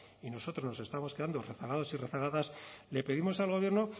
y nosotros nos estamos quedando rezagados y rezagadas le pedimos al gobierno